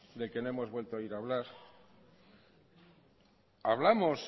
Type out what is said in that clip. del que no hemos vuelto a oír hablar hablamos